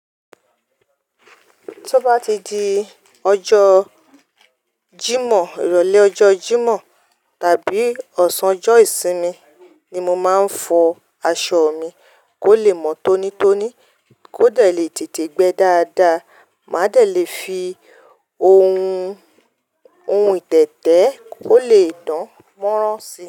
Tí o bá ti di ọjọ́ Jímọ̀, ìrọ̀lẹ́ ọjọ́ Jímọ̀ tàbí ọ̀sán ọjọ́ ìsinmi ni mo máa ń fọ aṣọ mi kó le mọ́ tónítóní, kó lè dẹ̀ lè tètè gbẹ dáadáa, mádẹ̀ lè fi ohun ìtẹ̀tẹ̀ kó lè dán mọ́ran si.